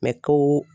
N bɛ to